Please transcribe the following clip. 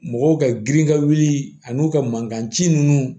Mɔgɔw ka girin ka wuli ani u ka mankan ci ninnu